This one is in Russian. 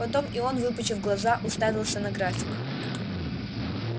потом и он выпучив глаза уставился на график